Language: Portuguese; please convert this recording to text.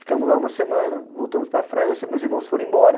Ficamos lá uma semana, voltamos para a França, meus irmãos foram embora.